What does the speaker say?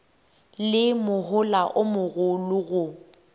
le mohola o mogolo go